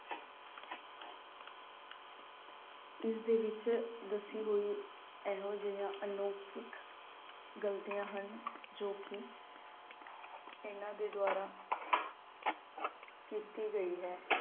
ਇਸਦੇ ਵਿਚ ਦੱਸੀ ਹੋਈ ਇਹੋ ਜਿਹਾ ਅਲੌਕਿਕ ਗਲਤੀਆਂ ਹਨ ਕਿ ਇਨ੍ਹਾਂ ਦੇ ਦੁਆਰਾ ਕੀਤੀ ਗਈ ਹੈ।